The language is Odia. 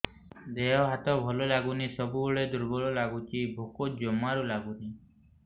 ଦେହ ହାତ ଭଲ ଲାଗୁନି ସବୁବେଳେ ଦୁର୍ବଳ ଲାଗୁଛି ଭୋକ ଜମାରୁ ଲାଗୁନି